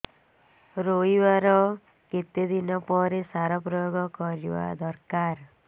ରୋଈବା ର କେତେ ଦିନ ପରେ ସାର ପ୍ରୋୟାଗ କରିବା ଦରକାର